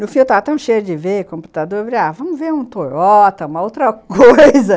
No fim eu estava tão cheia de ver computador, eu falei, vamos ver um Toyota, uma outra coisa...